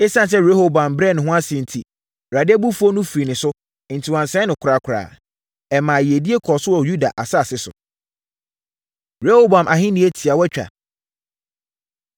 Esiane sɛ Rehoboam brɛɛ ne ho ase enti, Awurade abufuo no firii ne so, enti wansɛe no korakora. Ɛmaa yiedie kɔɔ so wɔ Yuda asase so. Rehoboam Ahennie Tiawatwa